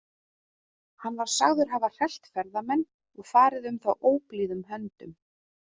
Hann var sagður hafa hrellt ferðamenn og farið um þá óblíðum höndum.